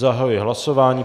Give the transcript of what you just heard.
Zahajuji hlasování.